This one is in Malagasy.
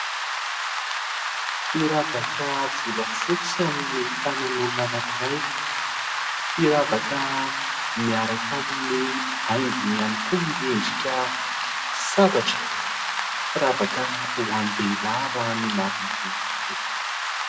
Firavaka volafotsy amin'ny tanan'olona anankiray. Firavaka miaraka amin'ny haingony ihany koa miendrika sabatra. Firavaka ho an-dehilahy raha ny marimarina kokoa.